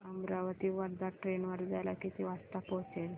Amravati Wardha train वर्ध्याला किती वाजता पोहचेल